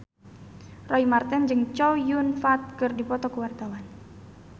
Roy Marten jeung Chow Yun Fat keur dipoto ku wartawan